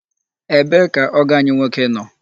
Ebee ka ọgọ anyị nwoke nọ?